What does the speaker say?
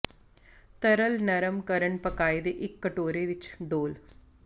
ਤਰਲ ਨਰਮ ਕਰਨ ਪਕਾਏ ਦੇ ਇੱਕ ਕਟੋਰੇ ਵਿੱਚ ਡੋਲ੍ਹ